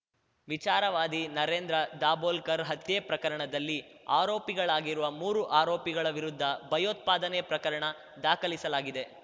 ವಿಚಾರವಾದಿ ನರೇಂದ್ರ ದಾಭೋಲ್ಕರ್‌ ಹತ್ಯೆ ಪ್ರಕರಣದಲ್ಲಿ ಆರೋಪಿಗಳಾಗಿರುವ ಮೂರು ಆರೋಪಿಗಳ ವಿರುದ್ಧ ಭಯೋತ್ಪಾದನೆ ಪ್ರಕರಣ ದಾಖಲಿಸಲಾಗಿದೆ